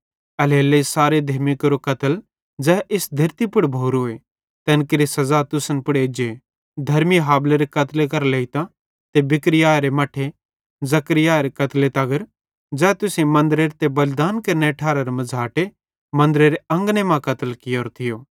एल्हेरेलेइ सारे धेर्मी केरो कत्ल ज़ै इस धेरती पुड़ भोरोए तैन केरि सज़ा तुसन पुड़ एज्जे धर्मी हाबिलेरे कत्ले करां लेइतां ते बिरिक्याहरे मट्ठे जकर्याहरे कत्ले तगर ज़ै तुसेईं मन्दरेरे ते बलिदान केरनेरे ठारारे मझ़ाटे मन्दरेरे अंगने मां कत्ल कियोरो थियो